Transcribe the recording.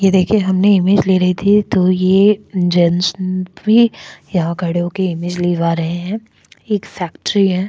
यह देखिए हमने इमेज ले रही थी तो ये जेंट्स भी यहां खड़े हो के इमेज लिवा रहे हैं एक फैक्ट्री है।